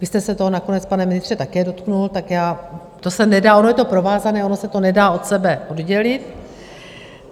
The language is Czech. Vy jste se toho nakonec, pane ministře, také dotkl, tak já - to se nedá, ono je to provázané, ono se to nedá od sebe oddělit.